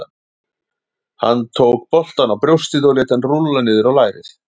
Hann tók boltann á brjóstið og lét hann rúlla niður á lærið.